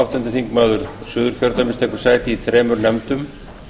áttundi þingmaður suðurkjördæmis tekur sæti í þremur nefndum